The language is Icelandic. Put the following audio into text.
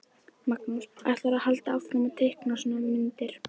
Magnús: Ætlarðu að halda áfram að teikna svona myndir?